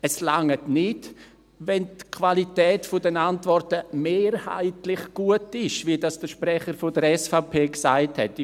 Es reicht nicht, wenn die Qualität der Antworten «mehrheitlich gut» ist, wie das der Sprecher der SVP gesagt hat.